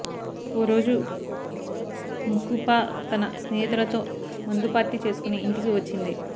ఓ రోజు ముకుపా తన స్నేహితులతో మందు పార్టీ చేసుకుని ఇంటికి వచ్చింది